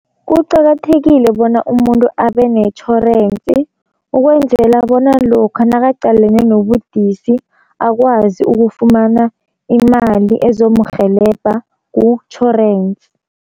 Kuqakathekile bona umuntu abe netjhorensi ukwenzela bona lokha nakaqalene nobudisi, akwazi ukufumana imali ezomurhelebha kutjhorensi.